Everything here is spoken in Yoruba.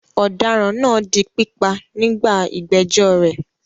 Ọ̀daràn náà di pípa nígbà ìgbẹ́jọ́ rẹ̀.